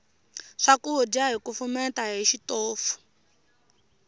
swakudya hi kufumeta hi xitofu